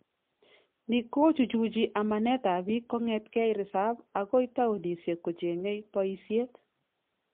Ni kochuchuchi amanetab bik kongetkei risap agoi taonisiek kochengei boisiet